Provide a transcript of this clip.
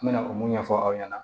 N mɛna o mun ɲɛfɔ aw ɲɛna